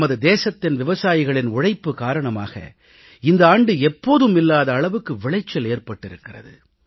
நமது தேசத்தின் விவசாயிகளின் உழைப்பு காரணமாக இந்த ஆண்டு எப்போதும் இல்லாத அளவுக்கு விளைச்சல் ஏற்பட்டிருக்கிறது